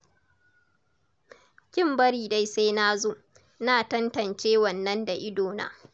Kin bari dai sai na zo, na tantance wannan da idona.